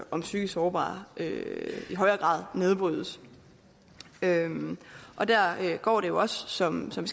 om psykisk sårbare i højere grad nedbrydes der går det jo også som som